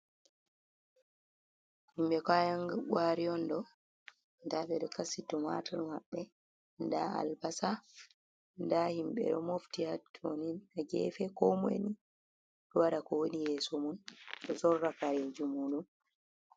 Himɓe kayan gwari on ɗo, nda ɓeɗo kasito tumatur maɓɓe nda albasa, nda himbe ɗo mofti ha to ni ha gefe, ko moi ni ɗo waɗa ko woni yeso mun do sorra kareji mu ɗum.